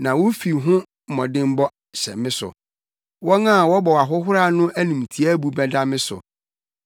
na wo fi ho mmɔdemmɔ hyɛ me so, wɔn a wɔbɔ wo ahohora no animtiaabu bɛda me so.